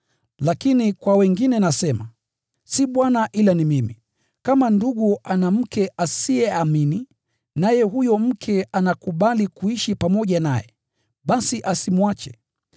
Lakini kwa wengine nasema (si Bwana ila ni mimi): Kama ndugu ana mke asiyeamini, naye huyo mke anakubali kuishi pamoja naye, basi asimwache.